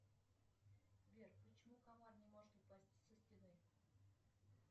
сбер почему комар не может упасть со стены